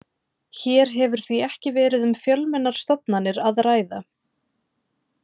Hér hefur því ekki verið um fjölmennar stofnanir að ræða.